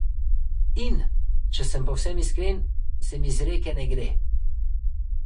In, če sem povsem iskren, se mi z Reke ne gre.